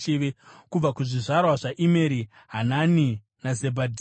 Kubva kuzvizvarwa zvaImeri: Hanani naZebhadhia.